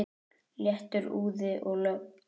Léttur úði og logn.